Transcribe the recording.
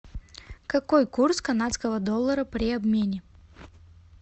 какой курс канадского доллара при обмене